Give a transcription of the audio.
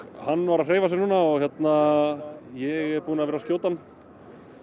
hann var að hreyfa sig hérna ég er búinn að vera að skjóta hann